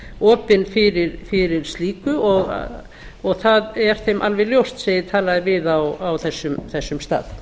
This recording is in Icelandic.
opin fyrir slíku og það er þeim alveg ljóst sem ég talaði við á þessum stað